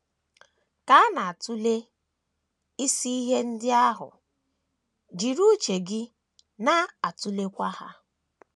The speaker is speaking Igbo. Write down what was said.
Ka a na - atụle isi ihe ndị ahụ, jiri uche gị na - atụleghachi ha.